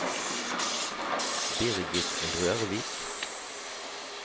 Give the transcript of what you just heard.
Birgit Rørvik